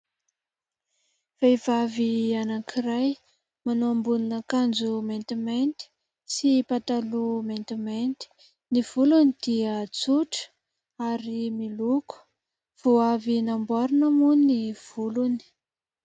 Vehivavy anankiray manao ambonina kanjo maintimainty sy pataloha maintimainty. Ny volony dia tsotra ary miloko, vo avy namboarina moa ny volony.